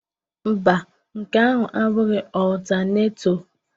Mba, nke ahụ abụghị ọltaneto